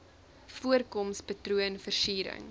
voorkoms patroon versiering